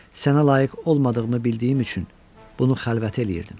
Sənə layiq olmadığımı bildiyim üçün bunu xəlvəti eləyirdim.